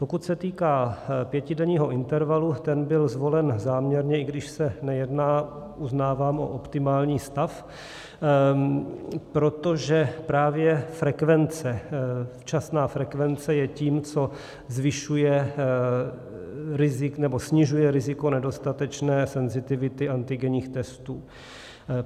Pokud se týká pětidenního intervalu, ten byl zvolen záměrně, i když se nejedná, uznávám, o optimální stav, protože právě frekvence, včasná frekvence je tím, co zvyšuje nebo snižuje riziko nedostatečné senzitivity antigenních testů.